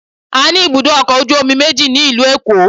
A ní ibùdó ọkọ̀ ojú omi méjì ní ìlú Èkó